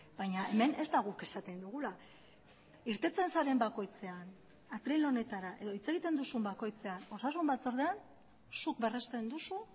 baina hemen ez da guk esaten dugula irteten zaren bakoitzean atril honetara edo hitz egiten duzun bakoitzean osasun batzordean zuk berrezten duzu